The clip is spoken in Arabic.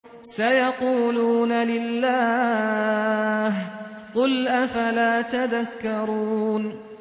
سَيَقُولُونَ لِلَّهِ ۚ قُلْ أَفَلَا تَذَكَّرُونَ